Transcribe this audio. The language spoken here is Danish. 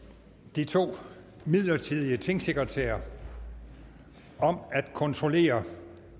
de to midlertidige tingsekretærer om at kontrollere